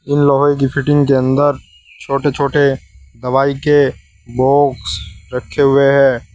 इन लोहे की फिटिंग के अंदर छोटे छोटे दवाई के बॉक्स रखे हुए हैं।